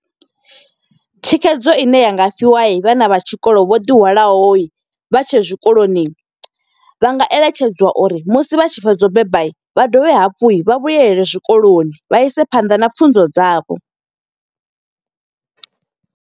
Thikhedzo ine ya nga fhiwa vhana vha tshikolo vho ḓihwalaho, vha tshe zwikoloni. Vha nga eletshedziwa uri musi vha tshi fhedza u beba, vha dovhe hafhu vha vhuyelele zwikoloni. Vha ise phanḓa na pfhunzo dzavho.